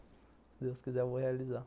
Se Deus quiser, eu vou realizar.